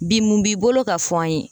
Bi mun b'i bolo ka fɔ an ye?